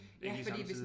Egentlig samtidig